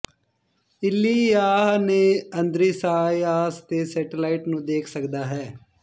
ਏਲੀਯਾਹ ਨੇ ਅੰਦ੍ਰਿਯਾਸ ਤੇ ਸੈਟੇਲਾਈਟ ਨੂੰ ਦੇਖ ਸਕਦਾ ਹੈ